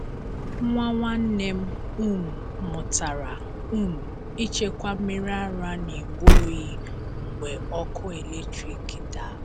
Nwa nwanne m um mụtara um ịchekwa mmiri ara n’igbe oyi mgbe ọkụ eletrik daa.